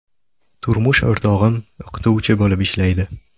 Turmush o‘rtog‘im o‘qituvchi bo‘lib ishlaydi.